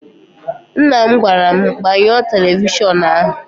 Nna m gwara m, gbanyụọ televishọnụ ahụ!